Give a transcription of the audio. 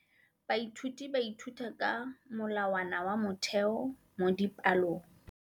Baithuti ba ithuta ka molawana wa motheo mo dipalong.